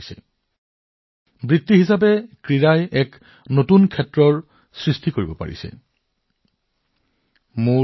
ক্ৰীড়া পেছাদাৰী হিচাপে ক্ৰীড়াক পছন্দৰ এটা বিষয় হিচাপে লৈ উদ্ভাসিত হৈছে